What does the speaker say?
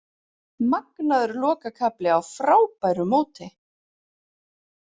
Magnaður lokakafli á frábæru móti